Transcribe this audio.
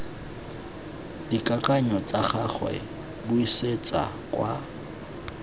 dikakanyo tsa gagwe buisetsa kwa